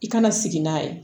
I kana sigi n'a ye